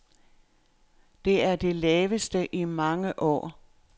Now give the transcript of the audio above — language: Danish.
Det er det laveste i mange år.